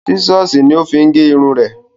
Sísọ̀sì ní ó ma fi gẹrun ẹ̀.